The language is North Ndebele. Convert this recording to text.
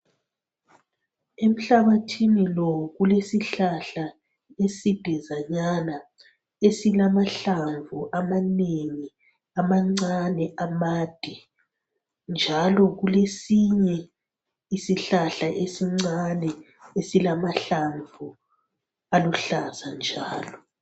Emhlabathini lo kulesihlahla esidazanyana esilamahlamvu amanengi amancane amade. njalo kulesinye isihlahla esincane esilamahlamvu njalo.